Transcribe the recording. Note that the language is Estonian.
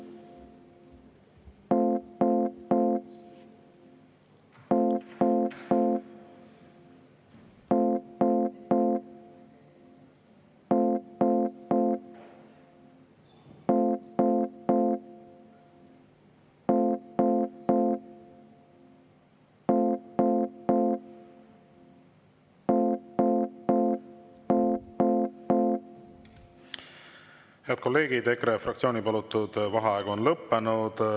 Head kolleegid, EKRE fraktsiooni palutud vaheaeg on lõppenud.